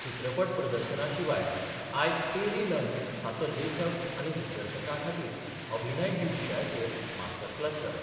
चित्रपट प्रदर्शना शिवाय आयज पेरी लंग हाचो लेखक आनी दिग्दर्शकां खातीर अभिनय हे विशयाचेर मास्टर क्लास जालो.